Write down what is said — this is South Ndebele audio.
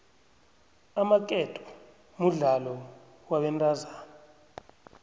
amaketo mudlalo wabentazana